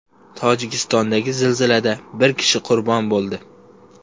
Tojikistondagi zilzilada bir kishi qurbon bo‘ldi.